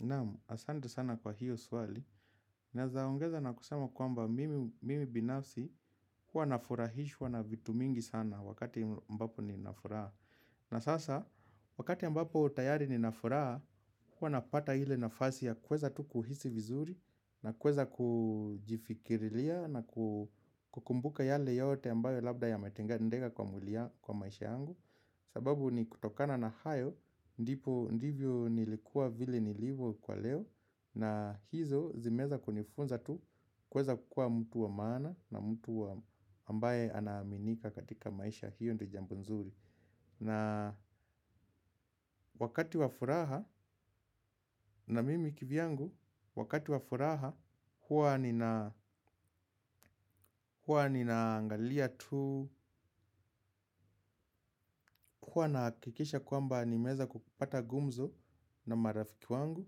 Naam, asante sana kwa hio swali. Naweza ongeza na kusema kwamba mimi binafsi huwa nafurahishwa na vitu mingi sana wakati ambapo ninafuraha. Na sasa, wakati ambapo tayari ninafuraha, huwa napata ile nafasi ya kuweza tu kuhisi vizuri na kuweza kujifikirilia na kukumbuka yale yote ambayo labda yamatendeka kwa maisha yangu. Sababu ni kutokana na hayo, ndipi, ndivyo nilikuwa vile nilivo kwa leo. Na hizo zimeweza kunifunza tu kuweza kukuwa mtu wa maana na mtu wa ambaye anaaminika katika maisha, hiyo ndio jambo nzuri. Na wakati wa furaha na mimi kivyangu wakati wafuraha huwa huwa ninaangalia tu huwa nahakikisha kwamba nimeweza kupata gumzo na marafiki wangu.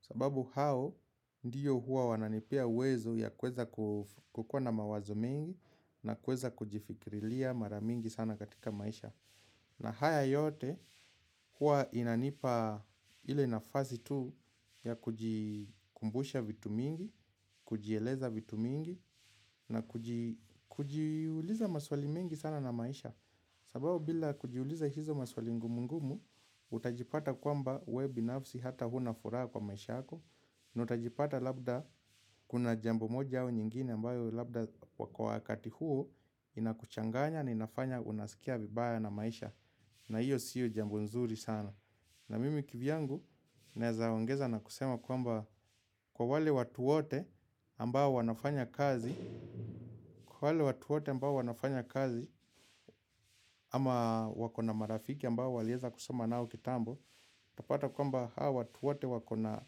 Sababu hao ndio huwa wananipea uwezo ya kuweza kukuwa na mawazo mengi. Na kuweza kujifikirilia mara mingi sana katika maisha. Na haya yote huwa inanipa ile nafasi tu ya kujikumbusha vitu mingi. Kujieleza vitu mingi na kujiuliza maswali mengi sana na maisha. Sababu bila kujiuliza hizo maswali ngumu ngumu. Utajipata kwamba we binafsi hata huna furaha kwa maisha yako na utajipata labda kuna jambi moja au nyingine ambayo labda kwa wakati huu inakuchanganya na inafanya unasikia vibaya na maisha. Na hiyo sio jambo nzuri sana. Na mimi kivyangu naweza ongeza na kusema kwamba, kwa wale watu wote ambao wanafanya kazi, kwa wale watuote ambao wanafanya kazi ama wakona marafiki ambao waliweza kusoma nao kitambo utapata kwamba hai watu wate wakona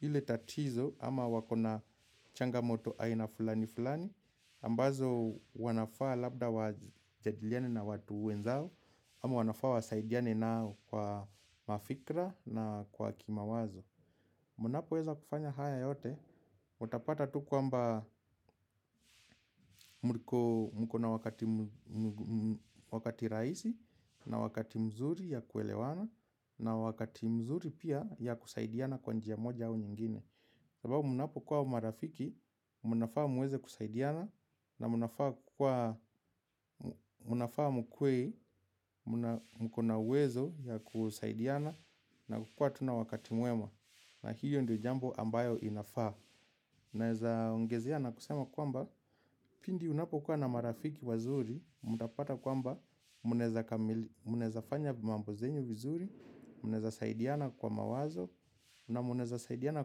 ile tatizo ama wakona changamoto aina fulani fulani ambazo wanafaa labda wajadiliane na watu wenzao ama wanafaa wasaidiane nao kwa mafikra na kwa kimawazo. Munapoweza kufanya haya yote. Watapata tu kwamba mkona wakati wakati rahisi na wakati mzuri ya kuelewana. Na wakati mzuri pia ya kusaidiana kwa njia moja au nyingine. Sababu munapo kuwa marafiki mnafaa muweze kusaidiana. Na mnafaa mkuwe mkona uwezo ya kusaidiana. Na kukua tu na wakati mwema. Na hio ndio jambo ambayo inafaa. Naweza ongezea na kusema kwamba pindi unapo kuwa na marafiki wazuri, mna pata kwamba mnaweza fanya mambo zenyu vizuri, mnaweza saidiana kwa mawazo na mnaweza saidiana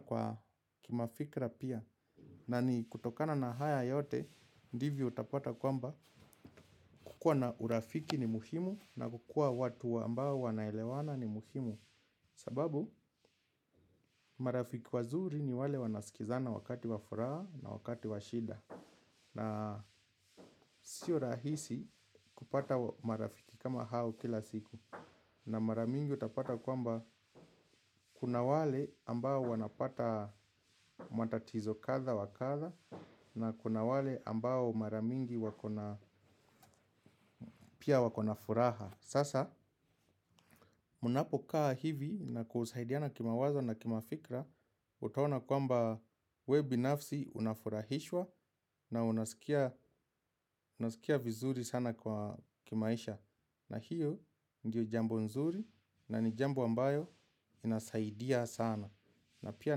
kwa kimafikra pia. Na ni kutokana na haya yote, ndivyo utapata kwamba kukua na urafiki ni muhimu na kukua watu ambao wanaelewana ni muhimu. Sababu, marafiki wazuri ni wale wanaskizana wakati wafuraha na wakati wa shida. Na sio rahisi kupata marafiki kama hao kila siku. Na maramingi utapata kwamba kuna wale ambao wanapata matatizo kadha wa kadha na kuna wale ambao marabmingi wako na, pia wako na furaha. Sasa, mnapo kaa hivi na kusaidiana kimawazo na kimafikra utqona kwamba we binafsi unafurahishwa na unasikia vizuri sana kwa kimaisha. Na hiyo ndiilo jambo nzuri na ni jambo ambayo inasaidia sana. Na pia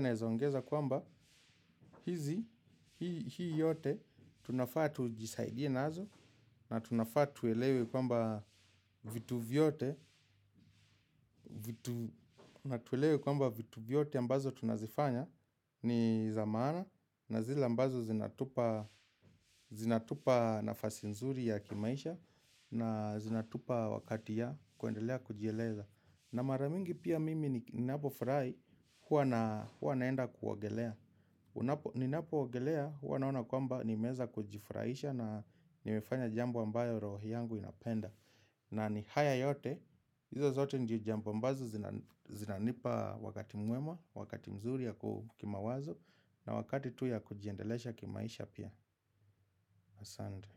naweza ongeza kwamba hizi, hii yote, tunafaa tujisaidie nazo. Na tunafaa tuelewe kwamba vitu vyote. Natuelewe kwamba vitu vyote ambazo tunazifanya ni za maana. Na zile ambazo zinatupa nafasi nzuri ya kimaisha. Na zinatupa wakati ya kuendelea kujieleza. Na maramingi pia mimi ninapofurai huwa naenda kuogelea. Ninapo ogelea, huwa naona kwamba nimeeza kujifuraisha na nimefanya jambo ambayo rohi yangu inapenda. Na ni haya yote, hizo zote ndio jambo ambazo zinanipa wakati mwema, wakati mzuri ya ku kimawazo na wakati tu ya kujiendelesha kimaisha pia. Asante.